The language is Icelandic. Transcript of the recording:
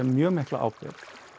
mjög mikla ábyrgð